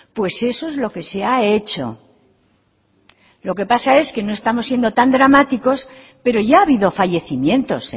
pues eso es lo que se ha hecho lo que pasa es que no estamos siendo tan dramáticos pero ya ha habido fallecimientos